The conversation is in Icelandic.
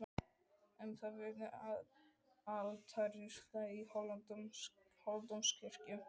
Um það vitnaði altarisklæðið í Hóladómkirkju.